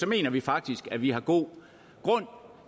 mener vi faktisk at vi har god grund